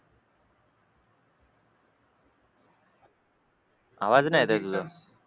आवाज नाही येत आहे तुझा